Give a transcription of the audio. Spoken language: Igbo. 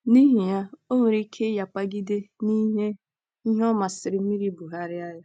N’ihi ya, o nwere ike ịnyapagide n’ihe ihe ọ masịrị mmiri bugharịa ya.